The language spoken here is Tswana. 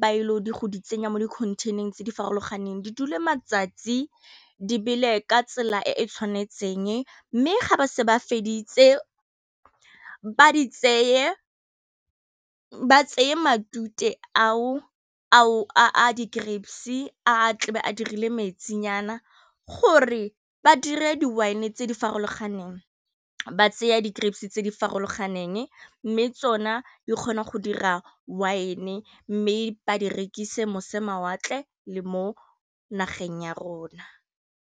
ba ile go di tsenya mo di-container-eng tse di farologaneng di dule matsatsi di bele ka tsela e e tshwanetseng, mme ga ba setse ba feditse ba di tseye ba tseye matute ao a di grapes a tlabe a dirile mentsinyana gore ba dire di wine tse di farologaneng ba tseya di grapes tse di farologaneng mme tsona di kgona go dira wine-e mme ba di rekisa mose mawatle le mo nageng ya rona.